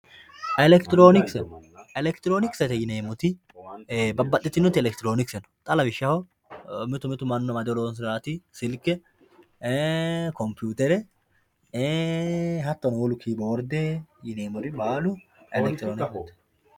Elektironikise, elektironikisete yineemoti babaxitinoti elektironikise no, xa lawishaho mitu mitu manu amadr horonsiranoti silke, kompuwutere hatono woluno kiyiboorde yineemori baalu elekitironkisete